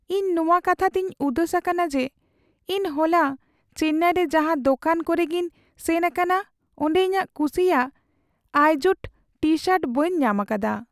ᱤᱧ ᱱᱚᱣᱟ ᱠᱟᱛᱷᱟ ᱛᱮᱧ ᱩᱫᱟᱹᱥ ᱟᱠᱟᱱᱟ ᱡᱮ ᱤᱧ ᱦᱚᱞᱟ ᱪᱮᱱᱱᱟᱭ ᱨᱮ ᱡᱟᱦᱟᱸ ᱫᱚᱠᱟᱱ ᱠᱚᱨᱮ ᱜᱮᱧ ᱥᱮᱱ ᱟᱠᱟᱱᱟ ᱚᱸᱰᱮ ᱤᱧᱟᱜ ᱠᱩᱥᱤᱭᱟᱜ ᱟᱭᱡᱳᱰ ᱴᱤᱼᱥᱟᱨᱴ ᱵᱟᱹᱧ ᱧᱟᱢ ᱟᱠᱟᱫᱟ ᱾